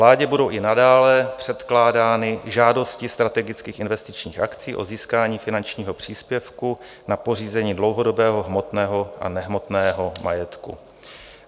Vládě budou i nadále předkládány žádosti strategických investičních akcí o získání finančního příspěvku na pořízení dlouhodobého hmotného a nehmotného majetku.